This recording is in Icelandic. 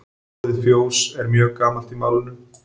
Orðið fjós er mjög gamalt í málinu.